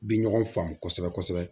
U bi ɲɔgɔn faamu kosɛbɛ kosɛbɛ